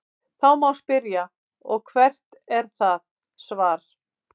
Þá má spyrja: Og hvert er það svar?.